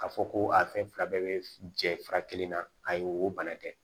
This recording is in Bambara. K'a fɔ ko a fɛn fila bɛɛ bɛ jɛ fura kelen na ayi o bana tɛ